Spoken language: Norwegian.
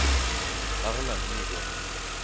Erlend Nygård